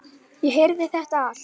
Ég heyrði þetta allt.